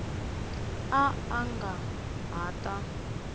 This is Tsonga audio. a a nga ha ta